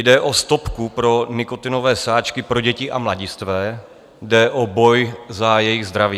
Jde o stopku pro nikotinové sáčky pro děti a mladistvé, jde o boj za jejich zdraví.